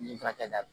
N'i furakɛda